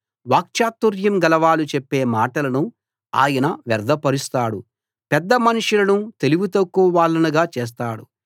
వాక్చాతుర్యం గలవారు చెప్పే మాటలను ఆయన వ్యర్ధపరుస్తాడు పెద్దమనుషులను తెలివితక్కువ వాళ్లనుగా చేస్తాడు